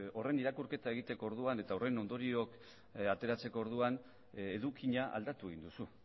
horren irakurketa egiteko orduan eta horren ondorioak ateratzeko orduan edukia aldatu egin duzu